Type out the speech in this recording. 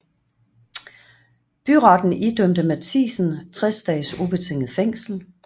Byretten idømte Mathiesen 60 dages ubetinget fængsel